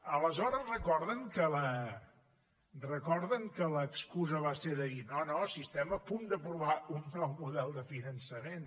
aleshores recorden que l’excusa va ser la de dir no no si estem a punt d’aprovar un nou model de finançament